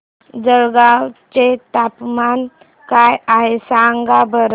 जळगाव चे तापमान काय आहे सांगा बरं